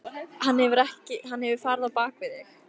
Hann hefur farið á bak við þig.